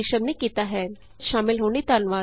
ਇਸ ਟਿਯੂਟੋਰਿਅਲ ਵਿਚ ਸ਼ਾਮਲ ਹੋਣ ਲਈ ਧੰਨਵਾਦ